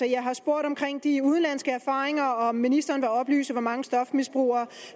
jeg har spurgt om de udenlandske erfaringer altså om ministeren vil oplyse hvor mange stofmisbrugere